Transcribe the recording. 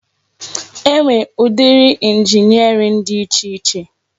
E nwere ụdị injiniarin dị iche iche.